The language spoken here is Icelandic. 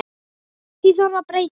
Því þarf að breyta.